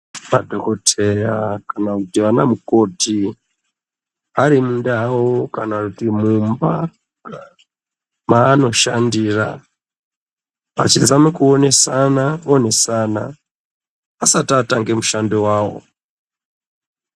Madhokoteya kana kuti ana mukoti arimundau kana kuti mumba maanoshandira vachizama kutonesa onesa asati atange mushando wawo.